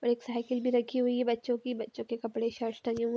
और एक साइकिल भी रखी हुई है बच्चों की बच्चों के कपड़े शश टंगे हुए--